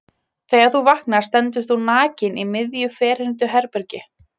Þegar þú vaknar stendur þú nakinn í miðju ferhyrndu herbergi.